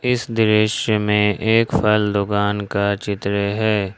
इस दृश्य में एक फल दुकान का चित्र है।